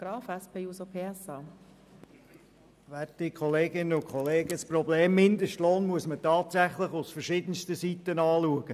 Das Problem Mindestlohn muss man tatsächlich von den verschiedensten Seiten betrachten.